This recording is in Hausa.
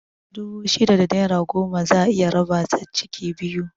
Dubu shida da naira goma za'a iya raba ta ciki biyu